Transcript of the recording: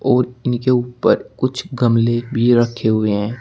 और इनके ऊपर कुछ गमले भी रखे हुए हैं।